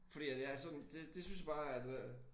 Fordi at jeg er sådan det det synes jeg bare at øh